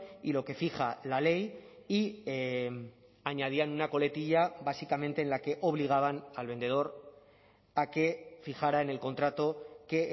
y lo que fija la ley y añadían una coletilla básicamente en la que obligaban al vendedor a que fijará en el contrato que